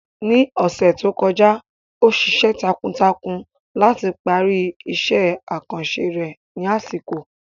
Ní ọ̀sẹ̀ tó kọjá, ó ṣiṣẹ́ takuntakun láti parí iṣẹ́ àkànṣe rẹ̀ ní àsìkò.